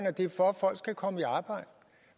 at det er for at folk skal komme i arbejde